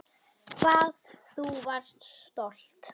Hvað þú varst stolt.